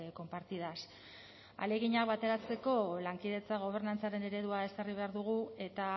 compartidas ahaleginak bateratzeko lankidetza gobernantzaren eredua ezarri behar dugu eta